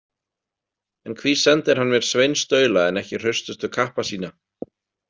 En hví sendir hann mér sveinstaula en ekki hraustustu kappa sína?